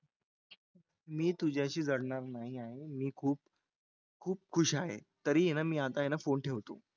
मी तुझ्याशी जडणार नाही आहे मी खूप खूप खुश आहे तरी आहे ना आता आहे ना मी phone ठेवतो.